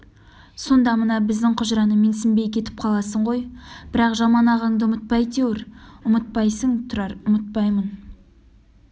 сонда мына біздің құжыраны менсінбей кетіп қаласың ғой бірақ жаман ағаңды ұмытпа әйтеуір ұмытпайсың тұрар ұмытпаймын